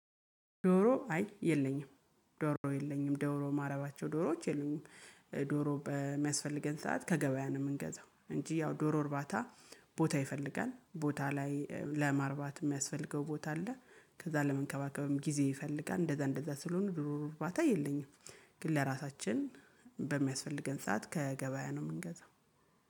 ዶሮ አይ የለኝም ዶሮ የለኝም ዶሮ ማረባቸው ዶሮዎች የሉኝም። ዶሮ በሚያስፈልገን ሰዓት ከገበያ ነው የምንገዛው እንጂ ያው ዶሮ እርባታ ቦታ ይፈልጋል ቦታ ላይ ለማርባት የሚያስፈልገው ቦታ አለ ከዛ ለመንከባከብም ጊዜ ይፈልጋል እንደዛ እንደዛ ስለሆኑ ድሮ ርባታ የለኝም ግን ለራሳችን በሚያስፈልገን ሰዓት ከገበያ ነው የምንገዛው።